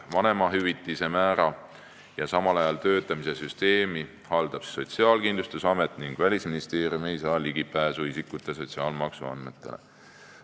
Vanemahüvitise määra ja samal ajal töötamise süsteemi haldab Sotsiaalkindlustusamet ja Välisministeerium ei saa ligipääsu isikute sotsiaalmaksuandmetele.